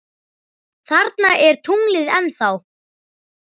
Þarna er tunglið ennþá.